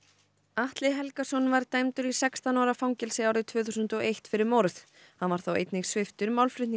Atli Helgason var dæmdur í sextán ára fangelsi árið tvö þúsund og eitt fyrir morð hann var þá einnig sviptur